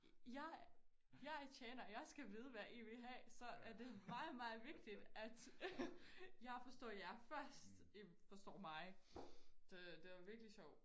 Jeg jeg er tjener og jeg skal vide hvad I vil have så er det meget meget vigtigt at jeg forstår jer først I forstår mig så det var virkelig sjovt